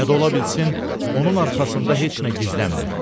Ya da ola bilsin onun arxasında heç nə gizlənmir.